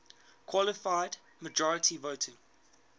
qualified majority voting